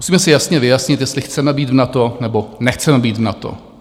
Musíme si jasně vyjasnit, jestli chceme být v NATO, nebo nechceme být v NATO.